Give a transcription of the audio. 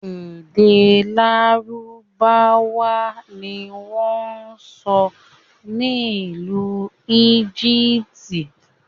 Èdè lárúbáwá ni wọn ń sọ n'ilu Egypt.